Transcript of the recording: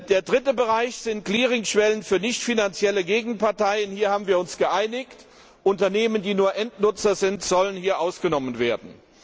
Der dritte Bereich sind Clearingschwellen für nichtfinanzielle Gegenparteien. Hier haben wir uns geeinigt Unternehmen, die nur Endnutzer sind, sollen hier ausgenommen